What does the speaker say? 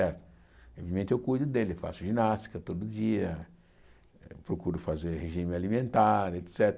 É obviamente eu cuido dele, faço ginástica todo dia, procuro fazer regime alimentar, et cétera.